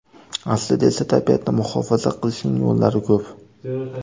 Aslida esa tabiatni muhofaza qilishning yo‘llari ko‘p.